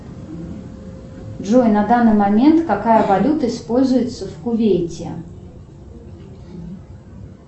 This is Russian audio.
джой на данный момент какая валюта используется в кувейте